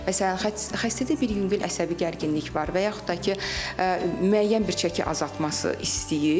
Məsələn, xəstədə bir yüngül əsəbi gərginlik var və yaxud da ki, müəyyən bir çəki azaltması istəyir.